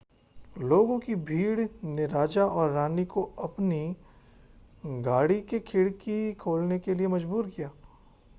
लोगों की भीड़ ने राजा और रानी को अपनी गाड़ी की खिड़की खोलने के लिए मजबूर किया